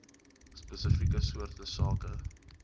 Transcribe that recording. spesifieke soorte sake